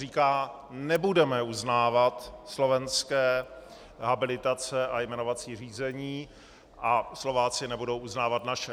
Říká: Nebudeme uznávat slovenské habilitace a jmenovací řízení a Slováci nebudou uznávat naše.